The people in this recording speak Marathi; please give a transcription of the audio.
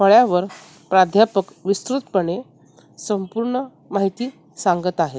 फळ्यावर प्राध्यापक विस्तृतपणे संपूर्ण माहिती सांगत आहेत .